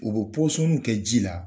U bɛ pɔsɔnniw kɛ ji la